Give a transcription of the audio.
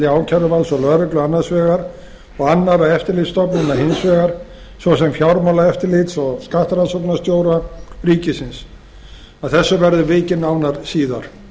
ákæruvalds og lögreglu annars vegar og annarra eftirlitsstofnana hins vegar svo sem fjármálaeftirlits og skattrannsóknarstjóra ríkisins að þessu verður vikið nánar síðar